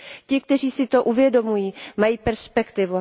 Ti, kteří si to uvědomují, mají perspektivu.